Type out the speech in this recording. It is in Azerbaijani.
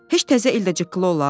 Heç təzə il də çıqqıla olar?